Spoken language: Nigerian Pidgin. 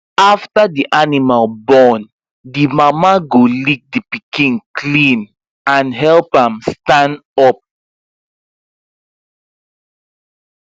after the animal born the mama go lick the pikin clean and help am stand up